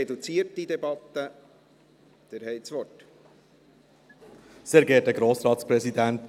Auch hier befinden wir uns in einer reduzierten Debatte.